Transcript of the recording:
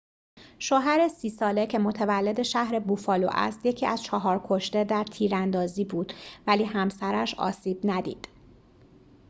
شوهر ۳۰ ساله که متولد شهر بوفالو است یکی از چهار کشته در تیراندازی بود ولی همسرش آسیب ندید